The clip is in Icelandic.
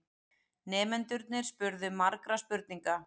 Nemendurnir spurðu margra spurninga.